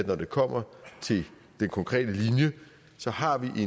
når det kommer til den konkrete linje så har vi i